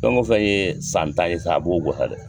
Fɛn go fɛn ye san tan ye sa a b'o sa dɛ,